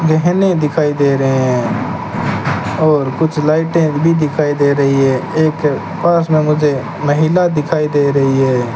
गहने दिखाई दे रहे हैं और कुछ लाइटें भी दिखाई दे रही है एक पास में मुझे महिला दिखाई दे रही है।